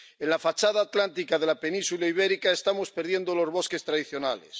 En la fachada atlántica de la Península Ibérica estamos perdiendo los bosques tradicionales.